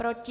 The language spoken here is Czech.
Proti?